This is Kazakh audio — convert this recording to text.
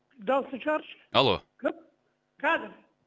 дауысын шығаршы алло кім қазір